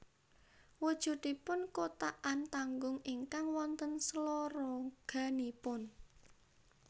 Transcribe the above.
Wujudipun kothakan tanggung ingkang wonten sloroganipun